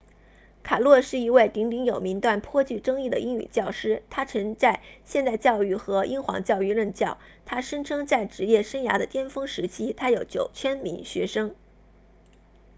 卡诺是一位鼎鼎有名但颇具争议的英语教师他曾在现代教育和英皇教育任教他声称在职业生涯的巅峰时期他有9000名学生